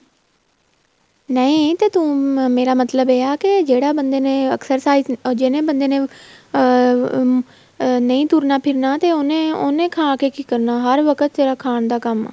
ਨਹੀਂ ਤੇ ਤੂੰ ਮੇਰਾ ਮਤਲਬ ਇਹ ਆ ਜਿਹੜਾ ਬੰਦੇ ਨੇ exercise ਜਿਹੜੇ ਬੰਦੇ ਨੇ ਅਹ ਨਹੀਂ ਤੁਰਨਾ ਫਿਰਨਾਂ ਤੇ ਉਹਨੇ ਉਹਨੇ ਖਾਕੇ ਕੀ ਕਰਨਾ ਹਰ ਵਕਤ ਸਿਰਫ਼ ਖਾਣ ਦਾ ਕੰਮ